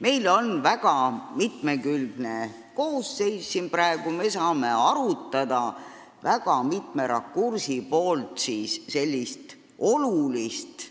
Meil on siin praegu väga mitmekülgne koosseis, nii et me saame mitme rakursi alt arutada sellist olulist